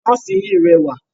Nọ́ọ̀sì yìí rẹwà.